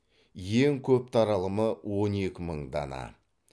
ең көп таралымы он екі мың дана